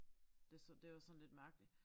Det det var sådan lidt mærkeligt